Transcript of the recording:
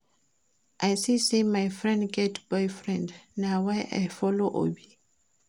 I see say my friend get boyfriend na why I follow Obi